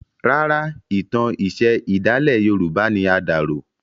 Rárá, ìtàn iṣẹ̀ ìdálẹ̀ yorùbá ni a dà rò.